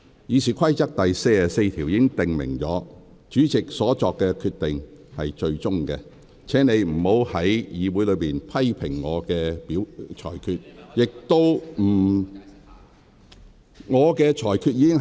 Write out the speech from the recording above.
《議事規則》第44條訂明，主席所作決定為最終決定，請你不要在會議上評論我的裁決。